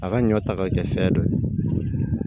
A ka ɲɔ ta ka kɛ fɛn dɔ ye